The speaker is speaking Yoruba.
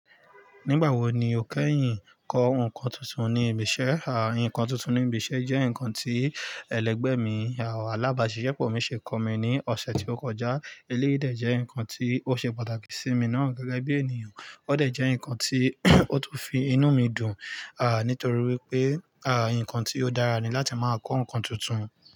Nígbà wo ni o kẹ́yìn kọ nǹkan tuntun ní ibi iṣẹ́? Àì nǹkan tuntun ní ibi iṣẹ́ jẹ́ nǹkan tí ẹlẹgbẹ́ mi, ààlábàá ṣiṣẹ́ pọ̀ mi ṣe kọ mi ní ọ̀sẹ̀ tí o kọjá. Eléyìí dẹ̀ jẹ́ nǹkan tí ó ṣe pàtàkì sí mi náà gẹ́gẹ́ bí ènìyàn, ó dẹ̀ jẹ́ nǹkan tí ó tún fi inú mi dùn, à nítorí wípé, à nǹkan tí ó dára ni láti máa kọ́ nǹkan tuntun.